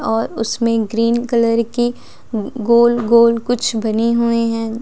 और उसमें green colour की गोल गोल कुछ बनी हुए हैं।